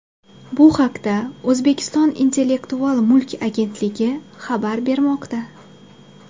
Bu haqda O‘zbekiston Intellektual mulk agentligi xabar bermoqda .